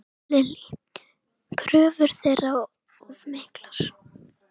Lillý: Kröfur þeirra of miklar?